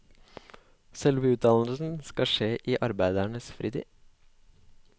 Selve utdannelsen skal skje i arbeidernes fritid.